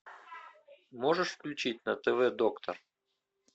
можешь включить на тв доктор